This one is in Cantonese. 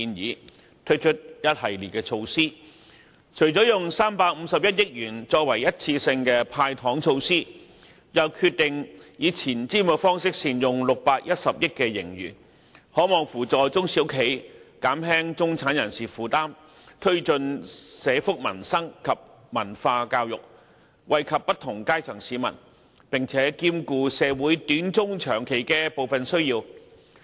預算案推出了一系列措施，除了使用351億元作為一次性"派糖"之外，又決定以前瞻方式善用610億元盈餘，這能扶助中小型企業，減輕中產人士負擔，推進社福民生及文化教育，惠及不同階層市民，並兼顧社會短、中、長期的部分需要。